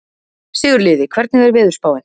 Sigurliði, hvernig er veðurspáin?